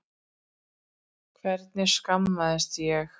Hvernig slasaðist ég?